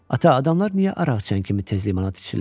Ata, adamlar niyə araqçəkən kimi tez limonad içirlər?